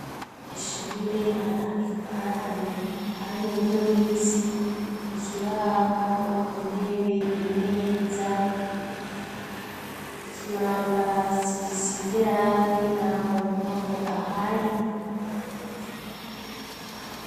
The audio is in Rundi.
ishuhure hari ahantu har 'umubumbe w'isi ,ikibaho, intebe, imeza .Ikibambazi gisize irangi nta muntu numwe ahari.